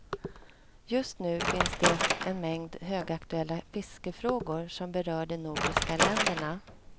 Just nu finns det en mängd högaktuella fiskefrågor som berör de nordiska länderna.